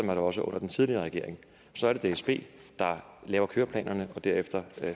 var det også under den tidligere regering så er det dsb der laver køreplanerne og derefter